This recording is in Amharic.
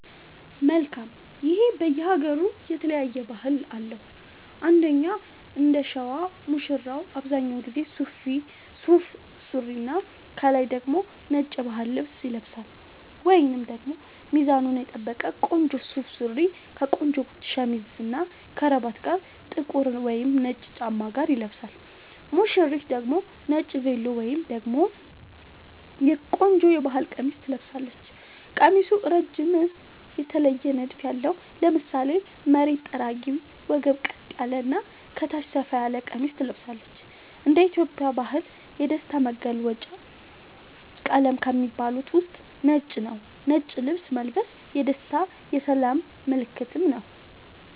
መልካም ይሄ በየ ሃገሩ የተለያየ ባህል አለው እንደኛ እንደሸዋ ሙሽራው አብዛኛውን ጊዜ ሱፍ ሱሪና ከላይ ደግሞ ነጭ የባህል ልብስ ይለብሳልወይንም ደግሞ ሚዛኑን የጠበቀ ቆንጆ ሱፍ ሱሪ ከቆንጆ ሸሚዝ እና ከረባት ጋር ጥቁር ወይም ነጭ ጫማ ጋር ይለብሳል ሙሽሪት ደግሞ ነጭ ቬሎ ወይም ደግሞ ቆንጆ የባህል ቀሚስ ትለብሳለች ቀሚሱ እረጅም የተለየ ንድፍ ያለው ( ለምሳሌ መሬት ጠራጊ ወገብ ቀጥ ያለ እና ከታች ሰፋ ያለ ቀሚስ ትለብሳለች )እንደ ኢትዮጵያ ባህል የደስታ መገልውጫ ቀለም ከሚባሉት ውስጥ ነጭ ነዉ ነጭ ልብስ መልበስ የደስታ የሰላም ምልክትም ነዉ